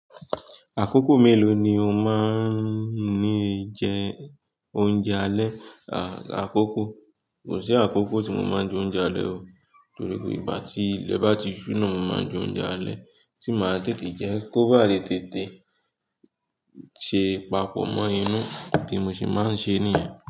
Àkókò mélòó ni o máa ń ní jẹ oúnjẹ alẹ́? Àkókò, kò sí àkókò tí mo máa ń jẹ oúnjẹ alẹ́ o, torí pé ìgbà tí ilẹ̀ bá ti ṣúnà, naa mo máa ń jẹ oúnjẹ alẹ́ tí màá tètè jẹ́ kó bá lè tètè ṣe papọ̀ mọ inú tí mo sì máa ń ṣe níyẹn.